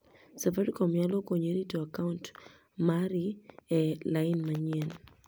safaricom nyalo konyi rito akaunt mari e lain manyien